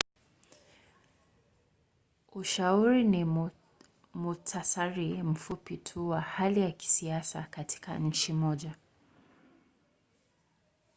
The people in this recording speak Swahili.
ushauri ni muhtasari mfupi tu wa hali ya kisiasa katika nchi moja